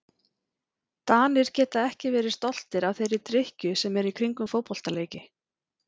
Danir geta ekki verið stoltir af þeirri drykkju sem er í kringum fótboltaleiki.